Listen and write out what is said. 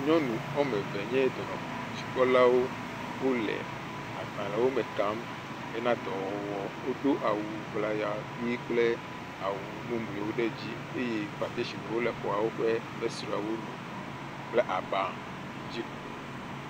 Nyɔnu woame eve aɖewo nye dɔnɔdzikpɔlawo. Wole agbalẽwome kam hena dɔwɔwɔ. Wodo awu ŋlaya ʋii kple awu mumuiwo ɖe dzi eye patesiniwo le exɔawo ƒe fesreawo nu kple aba yi dzi.